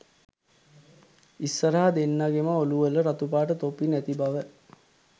ඉස්සරහ දෙන්නගෙම ඔලු වල රතුපාට තොප්පි නැති බව